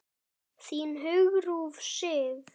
Þín, Hugrún Sif.